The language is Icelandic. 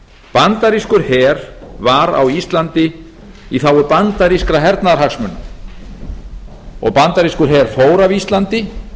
bandarískur her var á íslandi í þágu bandarískra hernaðarhagsmuna og bandarískur her fór af íslandi